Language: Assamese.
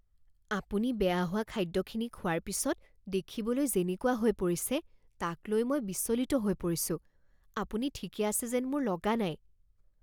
আপুনি বেয়া হোৱা খাদ্যখিনি খোৱাৰ পিছত দেখিবলৈ যেনেকুৱা হৈ পৰিছে তাক লৈ মই বিচলিত হৈ পৰিছোঁ। আপুনি ঠিকে আছে যেন মোৰ লগা নাই।